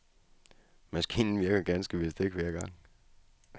Maskinen virker ganske vist ikke hver gang.